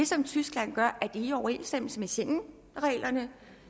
som tyskland gør i overensstemmelse med schengenreglerne